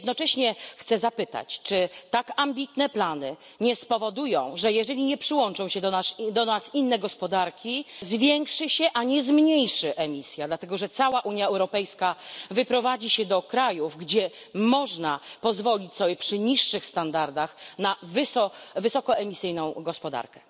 Jednocześnie chcę zapytać, czy tak ambitne plany nie spowodują, że jeżeli nie przyłączą się do nas inne gospodarki zwiększy się a nie zmniejszy emisja, dlatego że cała Unia Europejska wyprowadzi się do krajów, gdzie można pozwolić sobie przy niższych standardach na wysokoemisyjną gospodarkę.